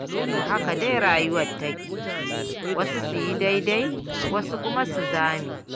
To haka dai rayuwar take, wasu su yi daidai wasu kuma su zame.